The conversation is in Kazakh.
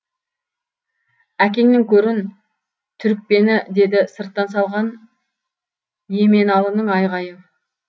әкеңнің көрін түрікпені деді сырттан салған еменалының айғайы